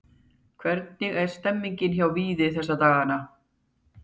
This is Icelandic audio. Hvernig er stemningin hjá Víði þessa dagana?